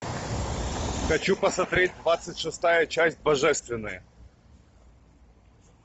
хочу посмотреть двадцать шестая часть божественное